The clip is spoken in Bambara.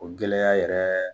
O gɛlɛya yɛrɛ